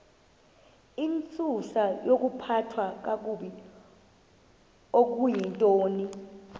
intsusayokuphathwa kakabi okuyintoni